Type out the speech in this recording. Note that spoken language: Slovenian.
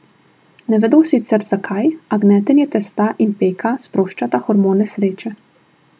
Ne vedo sicer, zakaj, a gnetenje testa in peka sproščata hormone sreče.